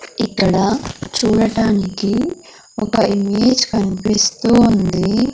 ఇక్కడ చూడటానికి ఒక ఇమేజ్ కన్పిస్తూ ఉంది.